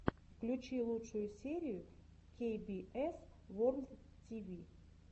включи лучшую серию кей би эс ворлд ти ви